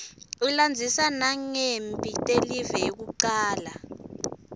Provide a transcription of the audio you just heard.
ilandzisa nangemphi telive yekucala